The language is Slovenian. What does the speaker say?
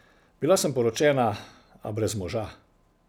Bila sem poročena, a brez moža.